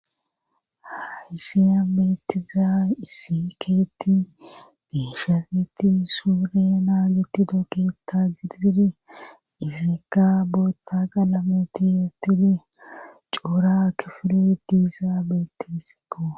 Haysiya beetiza isikeetti diishaseti suure na gitidooketa gididi izeeka bootta qalameti yeettidi coura kifure diizaabeeti isikko